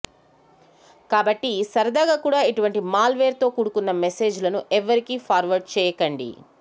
కాబట్టి సరదాగా కూడా ఇటువంటి మాల్ వేర్ తో కూడుకున్న మెసేజ్ లను ఎవ్వరికీ ఫార్వర్డ్ చేయకండి